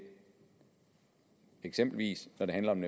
eksempelvis handler om